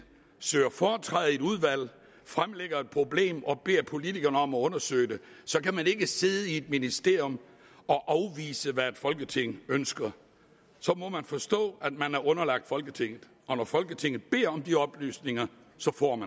søger foretræde i et udvalg fremlægger et problem og beder politikerne om at undersøge det så kan man ikke sidde i et ministerium og afvise hvad et folketing ønsker så må man forstå at man er underlagt folketinget og at folketinget beder om de oplysninger så får